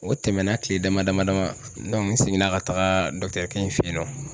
O tɛmɛna kile dama dama n seginna ka taga fe yen nɔ